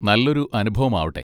നല്ലൊരു അനുഭവം ആവട്ടെ.